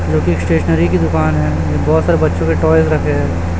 जोकि स्टेशनरी की दुकान है बहोत सारे बच्चों के टॉयज रखे हैं।